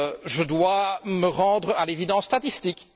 Je dois me rendre à l'évidence statistique.